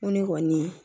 Ŋo ne kɔni